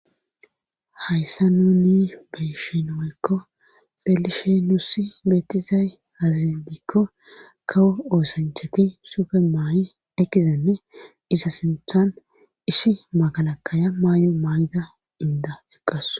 hayssa nuni beyshinoykko xelishe nussi beetizay hazindikko kawo oosanchati sufe maay7i ekizenne isa sinthan issi magalakaya maay7o maay7ida inda eqqas